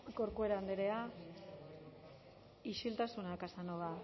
corcuera andrea isiltasuna casanova